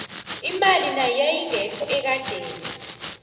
imali nayo yayingekho ekadeni